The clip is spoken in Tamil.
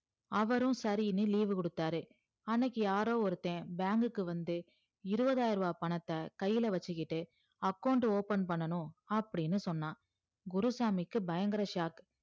அவரு சரின்னு leave கொடுத்தாரு அன்னைக்கி யாரோ ஒருத்த bank க்கு வந்து இருவதாயரூவா பணத்த கைல வச்சிக்கிட்டு account open பண்ணணு அப்டின்னு சொன்னா குருசாமிக்கு பயங்கர sock